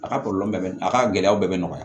A ka kɔlɔlɔ bɛɛ a ka gɛlɛyaw bɛɛ bɛ nɔgɔya